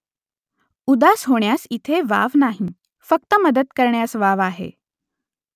उदास होण्यास इथे वाव नाही . फक्त मदत करण्यास वाव आहे